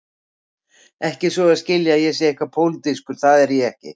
Ekki svo að skilja að ég sé eitthvað pólitískur, það er ég ekki.